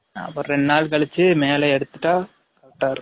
அப்ரம் ரெண்டு நால் கலிச்சு male எடுதுட்டா correct ஆ இருக்கும்